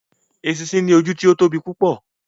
Eṣinṣin ní ojú tí o tóbi púpọ